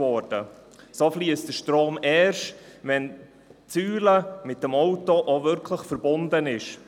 Der Strom fliesst erst, wenn die Säule mit dem Auto auch wirklich verbunden ist.